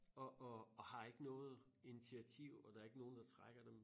Og og og har ikke noget initiativ og der er ikke nogen der trækker dem